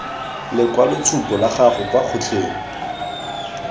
lekwaloitshupo la gago kwa kgotleng